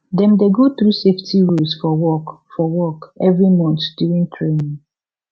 dem dey go through safety rules for work for work every month during training